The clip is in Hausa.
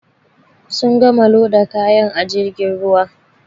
Sun gama loda kaya a jirgin ruwan.